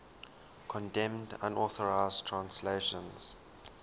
condemned unauthorized translations